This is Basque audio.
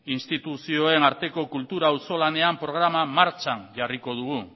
instituzioen arteko kultura auzolanean programa martxan jarriko dugu